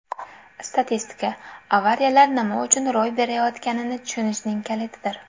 Statistika - avariyalar nima uchun ro‘y berayotganini tushunishning kalitidir.